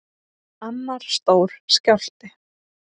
Annar stór skjálfti